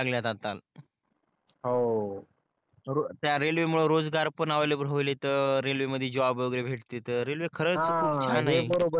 त्या रेलवे मुळे रोजगार पण अवायलेबल व्हायलेत रेल्वे मधी जॉब वगेरे भेटतेत रेल्वे खरच खूप छान आहे